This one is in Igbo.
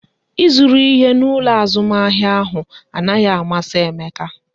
Ị zụru ihe n'ụlọ azụmahịa ahụ anaghị amasị Emeka